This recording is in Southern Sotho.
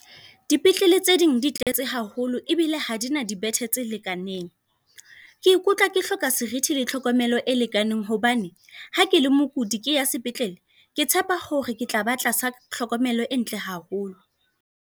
Dipetlele tse ding di tletse haholo ebile ha dina dibethe tse lekaneng. Ke ikutlwa ke hloka serithi le tlhokomelo e lekaneng. Hobane ha ke le mokudi, ke ya sepetlele ke tshepa hore ke tla ba tlasa tlhokomelo e ntle haholo.